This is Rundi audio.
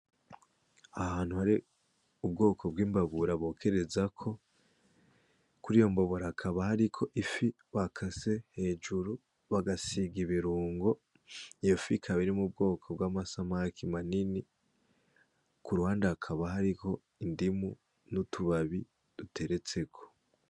Ahantu hari ubwoko bw'imbabura bokerezako kuriyo mbabura hakaba hariko ifi bakase hejuru bagasiga ibirungo iyofi ikaba iri mu bwoko bwama samaki manini ku ruhande hakaba hariko indimu n'utubabi duteretseko.